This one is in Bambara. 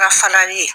Ka falali ye